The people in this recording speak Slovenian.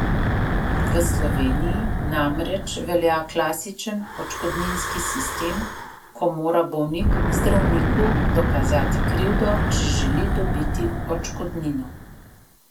V Sloveniji namreč velja klasičen odškodninski sistem, ko mora bolnik zdravniku dokazati krivdo, če želi dobiti odškodnino.